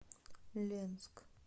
ленск